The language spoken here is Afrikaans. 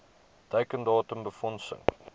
teiken datum befondsing